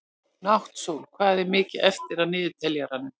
Náttsól, hvað er mikið eftir af niðurteljaranum?